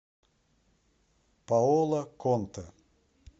паоло контэ